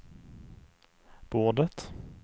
bordet